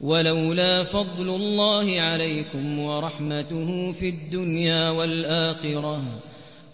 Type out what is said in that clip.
وَلَوْلَا فَضْلُ اللَّهِ عَلَيْكُمْ وَرَحْمَتُهُ فِي